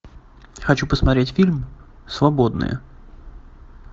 хочу посмотреть фильм свободные